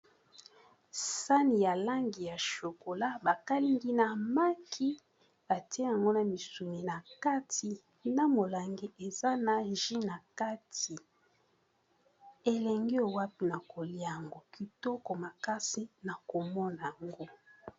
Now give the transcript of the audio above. Sani ya langi ya shokola, ba kalingi na maki atie yango na misuni. Na kati na molangi, eza na ji na kati. Elengi owapi na kolia yango, kitoko makasi na komona yango.